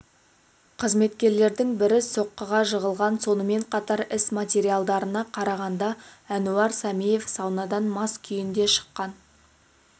қызметкерлердің бірі соққыға жығылған сонымен қатар іс материалдарына қарағанда әнуар сәмиев саунадан мас күйінде шыққан